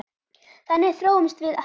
Þannig þróumst við hraðar.